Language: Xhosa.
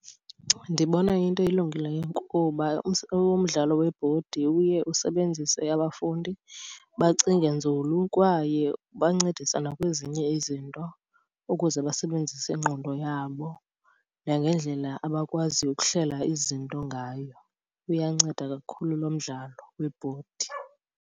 Ndibona iyinto elungileyo kuba umdlalo webhodi uye usebenzise abafundi, bacinge nzulu kwaye ubancedisa nakwezinye izinto ukuze basebenzise ingqondo yabo nangendlela abakwaziyo ukuhlela izinto ngayo. Uyanceda kakhulu lo mdlalo webhodi.